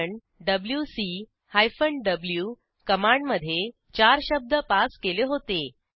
कारण डब्ल्यूसी hyphen v command मधे चार शब्द पास केले होते